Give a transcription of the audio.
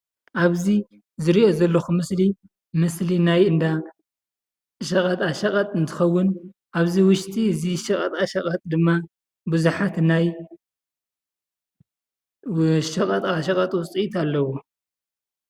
ኣብዚ ዝሪኦ ዘለኩ ምስሊ ምስሊ ናይ እንዳ ሸቐጣ ሸቀጥ እንትኸውን ኣብዚ ውሽጢ እዚ ሸቐጣ ሸቐጥ ድማ ብዙሓት ናይ ሸቐጣ ሸቐጥ ውፅኢት ኣለው።